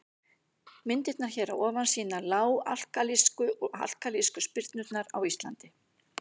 Myndirnar hér að ofan sýna lág-alkalísku og alkalísku syrpurnar á Íslandi.